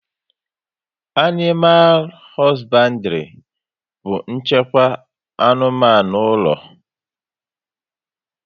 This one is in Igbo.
Animal hosbandiri bu nchịkwa anụmanụ ụlọ